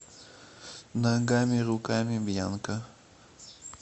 ногамируками бьянка